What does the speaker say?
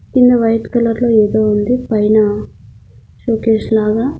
కింద white colour లో ఏదో ఉంది పైన షోకేస్ లాగా.